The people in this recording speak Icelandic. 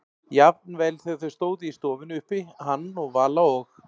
Jafnvel þegar þau stóðu í stofunni uppi, hann og Vala, og